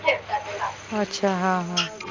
अच्छा हां हां